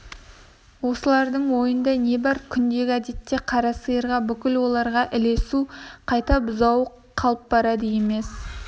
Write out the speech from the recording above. олардың ойында не бар күндегі әдеті қара сиырға бүгін оларға ілесу қайда бұзауы қалып барады емес